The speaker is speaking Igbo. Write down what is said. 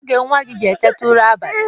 Kedụ oge nwa gị ji eteta ụra abalị?